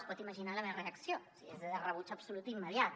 es pot imaginar la meva reacció de rebuig absolut immediat